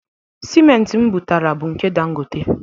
Siment m butara bụ nke Dangote.